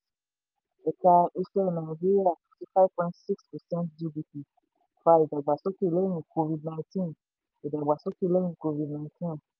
ẹ̀ka iṣẹ́ nàìjíríà fifty five point six percent gdp fa ìdàgbàsókè lẹ́yìn covid-nineteen ìdàgbàsókè lẹ́yìn covid-nineteen